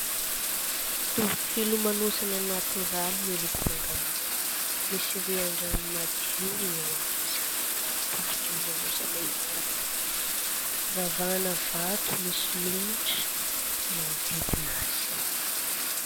Toby filomanosana natoraly miloko mangamanga, misy rian-drano madio eo amin'izany toby filomanosana izany, ravahana vato misy lomotra manodidina azy.